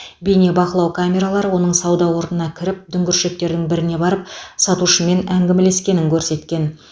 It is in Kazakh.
бейнебақылау камералары оның сауда орнына кіріп дүңгіршектердің біріне барып сатушымен әңгімелескенін көрсеткен